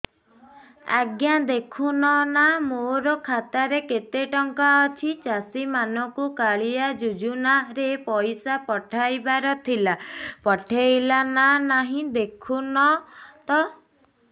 ଆଜ୍ଞା ଦେଖୁନ ନା ମୋର ଖାତାରେ କେତେ ଟଙ୍କା ଅଛି ଚାଷୀ ମାନଙ୍କୁ କାଳିଆ ଯୁଜୁନା ରେ ପଇସା ପଠେଇବାର ଥିଲା ପଠେଇଲା ନା ନାଇଁ ଦେଖୁନ ତ